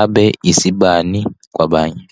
abe isibani kwabanye.